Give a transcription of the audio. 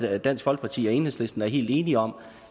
at dansk folkeparti og enhedslisten er helt enige om